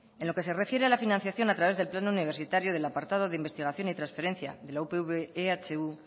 en lo que se refiere a la financiación a través del plan universitario del apartado de investigación y transferencia de la upv ehu